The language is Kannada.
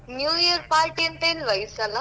New Year Party ಎಂತ ಇಲ್ವಾ ಈಸಲ.